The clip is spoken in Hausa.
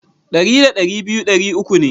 Dari da dari biyu dari uku ne.